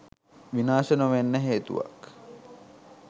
විනාශ නොවෙන්න හේතුවක්?